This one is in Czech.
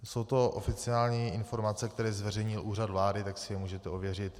Jsou to oficiální informace, které zveřejnil Úřad vlády, tak si je můžete ověřit.